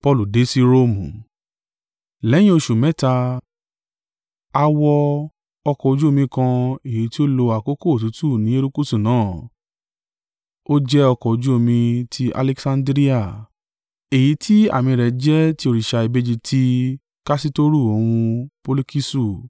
Lẹ́yìn oṣù mẹ́ta, a wọ ọkọ̀ ojú omi kan èyí tí ó lo àkókò òtútù ní erékùṣù náà. Ó jẹ́ ọkọ̀ ojú omi ti Alekisandiria, èyí tí àmì rẹ̀ jẹ́ tí òrìṣà ìbejì ti Kasitoru òun Polukisu.